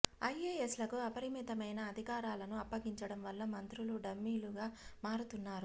ఐఎఎస్లకు అపరిమితమైన అధికా రాలను అప్పగించడం వల్ల మంత్రులు డమ్మీలుగా మారుతున్నారు